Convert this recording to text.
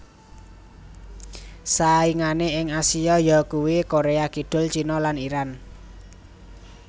Saingané ing Asia yakuwi Korea Kidul China lan Iran